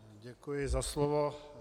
Děkuji za slovo.